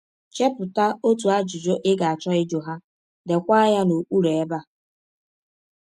Chepụta otu ajụjụ ị ga - achọ ịjụ ha, deekwa ya n’okpụrụ ebe a.